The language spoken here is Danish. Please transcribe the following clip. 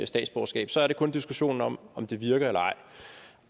statsborgerskab så er det kun diskussionen om om det virker eller ej